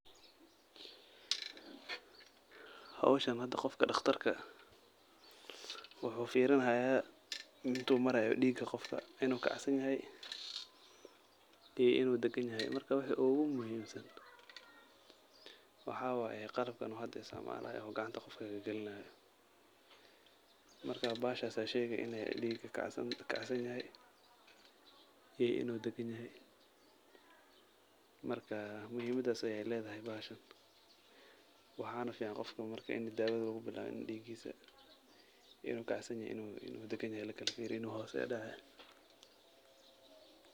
Howshan hada qofka dhaqtarka eh wuxuu furinayaa intu maraya dhiiga qofka inu kac san yahay iyo inu deegan yahay marka wixi ogu muhim San waxawaye qalabkan uu hada isticmaalayo oo gacanta qofka kegelinayo, marka bahashas aya sheegi inu dhiiga kacsan yahay iyo inu deegan yahay. Marka muhimadaas ayay ledahay bahashan, waxana fican qofka marka ini daawada lugu bilawin ini dhiigisa inu kacsan yahay iyo inu deegan yahay lakala fiiriyo, inu hos udhece